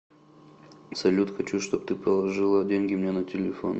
салют хочу чтоб ты положила деньги мне на телефон